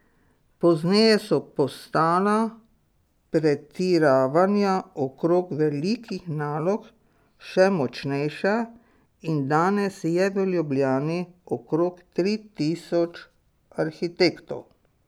Pozneje so postala pretiravanja okrog velikih nalog še močnejša in danes je v Ljubljani okrog tri tisoč arhitektov.